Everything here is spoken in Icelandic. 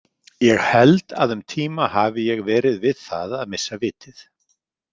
Ég held að um tíma hafi ég verið við það að missa vitið.